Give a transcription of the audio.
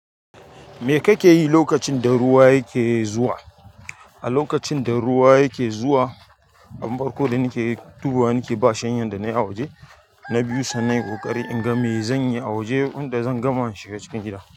Me kake yi lokacin da ruwa yake zuwa? A lokacin da ruwa yake zuwa, abun farko da nake dubuwa nake ba shanyan da na yi a waje na biyu sannan in ƙoƙari in ga me zan yi a waje wanda zan gama shiga cikin gida.